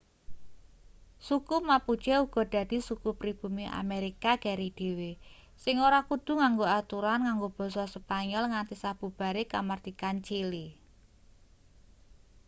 suku mapuche uga dadi suku pribumi amerika keri dhewe sing ora kudu nganggo aturan nganggo basa spanyol nganti sabubare kamardikan chili